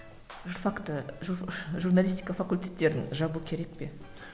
журфакты журналистика факультеттерін жабу керек пе